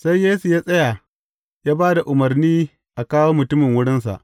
Sai Yesu ya tsaya, ya ba da umarni a kawo mutumin wurinsa.